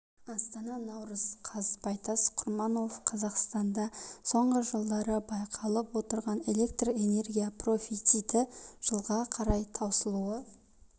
астана наурыз қаз байтас құрманов қазақстанда соңғы жылдары байқалып отырған электр энергия профициті жылға қарай таусылуы